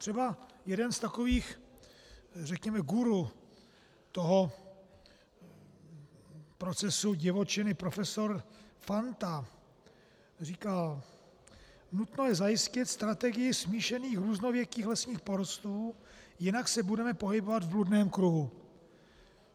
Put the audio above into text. Třeba jeden z takových, řekněme, guru toho procesu divočiny, profesor Fanta, říkal: Nutno je zajistit strategii smíšených různověkých lesních porostů, jinak se budeme pohybovat v bludném kruhu.